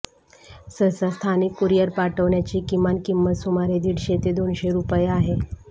सहसा स्थानिक कुरियर पाठविण्याची किमान किंमत सुमारे दीडशे ते दोनशे रुपये आहे